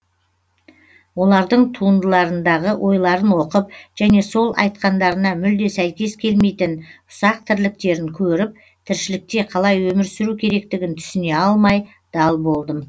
олардың туындыларындағы ойларын оқып және сол айтқандарына мүлде сәйкес келмейтін ұсақ тірліктерін көріп тіршілікте қалай өмір сүру керектігін түсіне алмай дал болдым